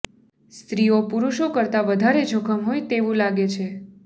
સ્ત્રીઓ પુરૂષો કરતા વધારે જોખમ હોય તેવું લાગે છે